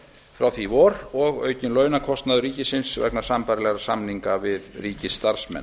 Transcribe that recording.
frá því í vor og aukinn launakostnaður ríkissjóðs vegna sambærilegra samninga við ríkisstarfsmenn